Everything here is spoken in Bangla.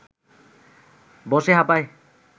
বসে হাঁপায়